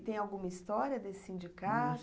E tem alguma história desse sindicato?